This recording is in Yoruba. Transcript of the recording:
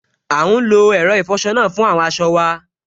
À n lo ẹ̀rọ ìfọsọ náà fún àwọn aṣọ wa